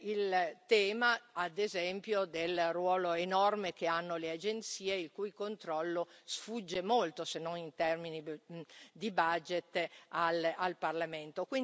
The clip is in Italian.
Il tema, ad esempio, del ruolo enorme che hanno le agenzie, il cui controllo sfugge molto, se non in termini di budget, al Parlamento.